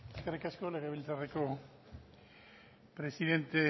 eskerrik asko legebiltzarreko presidente